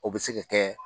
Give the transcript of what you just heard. O bɛ se ka kɛ